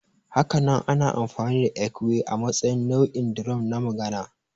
Hakanan ana amfani da ekwe a matsayin nau'in drum na magana